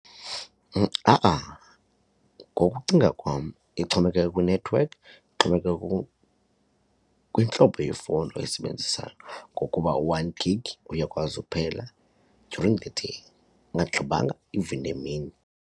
Ha-a, ngokucinga kwam ixhomekeka kwinethiwekhi ixhomekeke kwintlobo yefowuni oyisebenzisayo ngokuba u-one gig uyakwazi kuphela during the day ungaggqibanga even nemini.